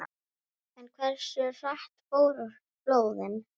En hversu hratt fóru flóðin?